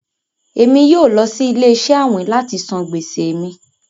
ẹ̀mi yóò lọ sí ilẹ̀-iṣẹ àwìn láti sàn gbèsè mí.